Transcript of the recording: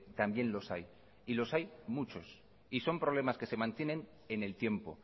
también los hay y los hay muchos y son problemas que se mantienen en el tiempo